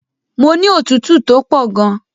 Mo ní òtútù tó pọ̀ gan.